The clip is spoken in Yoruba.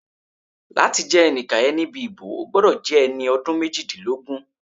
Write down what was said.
Láti jẹ́ ẹni ìkàyẹ̀ níbi ìbò, o gbọ́dọ̀ jẹ́ ẹni ọdún méjìdínlógún